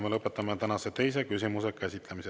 Ma lõpetan tänase teise küsimuse käsitlemise.